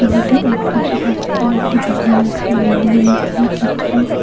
ভিটের একপাশে পাঁচতলা একটি বিল্ডিং আছে বিল্ডিংয়ের নীচে কিছু--